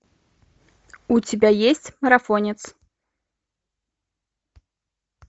у тебя есть марафонец